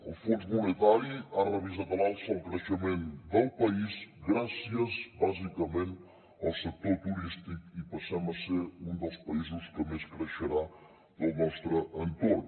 el fons monetari ha revisat a l’alça el creixement del país gràcies bàsicament al sector turístic i passem a ser un dels països que més creixerà del nostre entorn